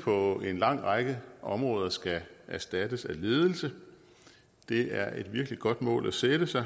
på en lang række områder skal erstattes af ledelse det er et virkelig godt mål at sætte sig